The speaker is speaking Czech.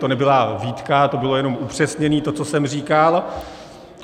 To nebyla výtka, to bylo jenom upřesnění, to, co jsem říkal.